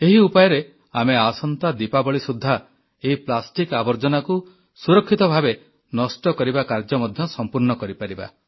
ଏହି ଉପାୟରେ ଆମେ ଆସନ୍ତା ଦୀପାବଳୀ ସୁଦ୍ଧା ଏହି ପ୍ଲାଷ୍ଟିକ ଆବର୍ଜନାକୁ ସୁରକ୍ଷିତ ଭାବେ ନଷ୍ଟ କରିବା କାର୍ଯ୍ୟ ମଧ୍ୟ ସମ୍ପୂର୍ଣ୍ଣ କରିପାରିବା